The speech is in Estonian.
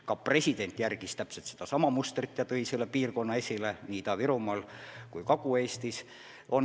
Ka president järgis seda mustrit ja tõi piirkonnana esile nii Ida-Virumaa kui Kagu-Eesti.